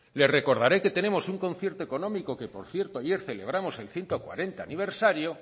le recordaré que tenemos un concierto económico que por cierto ayer celebramos el ciento cuarenta aniversario